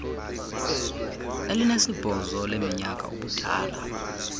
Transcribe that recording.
elinesibhozo leminyaka ubudala